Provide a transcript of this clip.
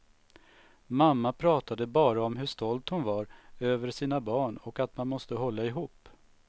Mamma pratade bara om hur stolt hon var över sina barn och att man måste hålla ihop.